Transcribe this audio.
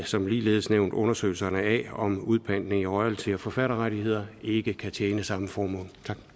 som ligeledes nævnt undersøgelse af om udpantning i royalty og forfatterrettigheder ikke kan tjene samme formål